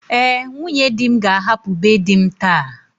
Ee, nwunye di m ga-ahapụ be di m taa.